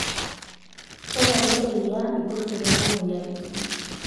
Tatalu eriaa, ilkurt tenebo moyiaritin.